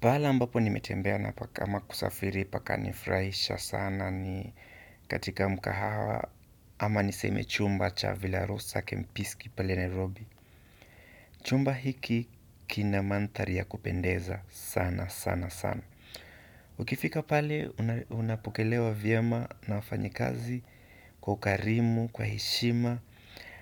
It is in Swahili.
Pahala ambapo nimetembea na pa kama kusafiri pakanifurahisha sana ni katika mkahawa ama niseme chumba cha Vila Rosa Kempiski pale Nairobi. Chumba hiki kina mandhari ya kupendeza sana sana sana. Ukifika pale unapokelewa vyema na wafanyikazi kwa ukarimu, kwa heshima.